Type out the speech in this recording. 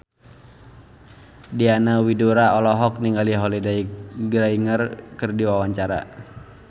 Diana Widoera olohok ningali Holliday Grainger keur diwawancara